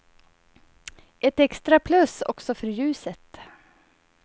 Ett extra plus också för ljuset.